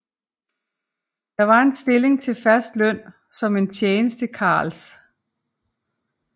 Det var en stilling til fast løn som en tjenestekarls